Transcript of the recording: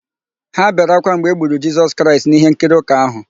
Ha bere ákwá mgbe e gburu Jisọs Kraịst n'íhénkiri ụka áhụ̀.